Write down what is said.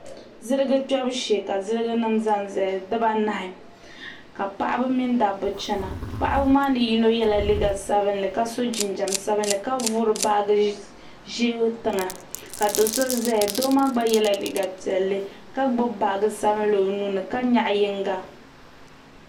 ziligi kpɛbu shɛɛ ka zilijigi nim zanzaya di baanahi ka paɣ' mini daba china paɣ' ni yino yɛla liga sabilinli ka so jinjam sabinli ka kuli vuri baagi ʒiɛ tɛŋa ka do so zaya do maa gba yɛla liga piɛlli ka gbabi baagi sabinli o nuuni ka nyɛgi yinŋa